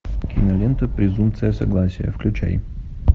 кинолента презумпция согласия включай